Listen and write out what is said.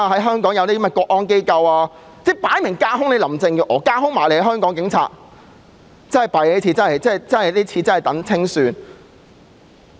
香港即將設立國安機構，明顯是架空林鄭月娥及香港警隊，這真是糟糕，要等待清算。